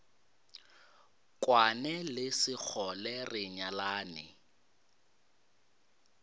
kwane le sekgole re nyalane